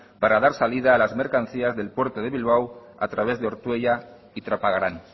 para dar salida a las mercancías del puerto de bilbao a través de ortuella y trapagaran